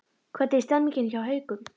Hvernig er stemningin hjá Haukum?